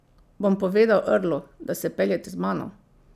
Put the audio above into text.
Bom povedal Earlu, da se peljete z mano.